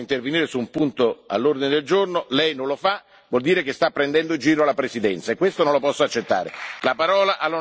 Se Le do la parola per intervenire su un punto all'ordine del giorno e Lei non lo fa, vuol dire che sta prendendo in giro la Presidenza.